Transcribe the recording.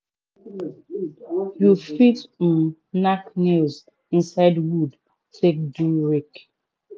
you fit um nack nails inside wood take do rake.